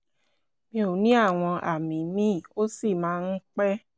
mi ò ní àwọn àmì míì ó sì máa ń pẹ́